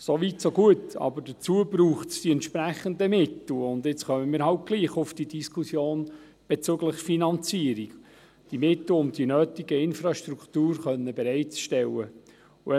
So weit, so gut; aber dazu braucht es die entsprechenden Mittel, und jetzt kommen wir halt trotzdem auf die Diskussion bezüglich der Finanzierung: die Mittel, um die nötige Infrastruktur bereitstellen zu können.